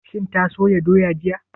Shin ta soya doya jiya?